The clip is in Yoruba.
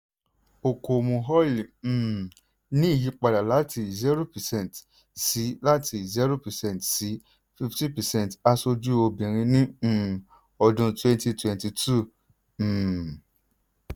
okomu oil um ní ìyípadà láti zero percent sí láti zero percent sí fifteen percent aṣojú obìnrin ní um ọdún twenty twenty two. um